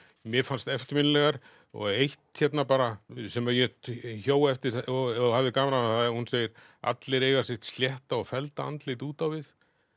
mér fannst eftirminnilegar og eitt hérna bara sem ég hjó eftir og hafði gaman af hún segir allir eiga sitt slétta og fellda andlit út á við